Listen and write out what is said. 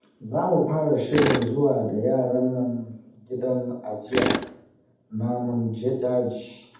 Za mu fara shirin zuwa da yaran nan gidan ajiyar namun daji